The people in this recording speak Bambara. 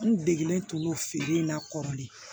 N degelen to feere in na kɔrɔlen